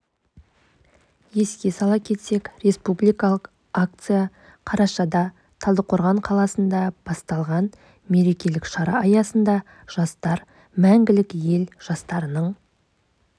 еске сала кетсек республикалық акция қарашада талдықорған қаласында басталған мерекелік шара аясында жастар мәңгілік ел жастарының